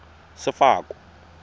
sefako